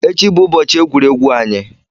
Echi bụ ụbọchị egwuregwu anyị.